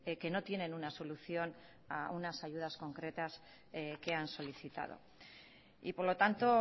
que no tienen una solución a unas ayudas concretas que han solicitado y por lo tanto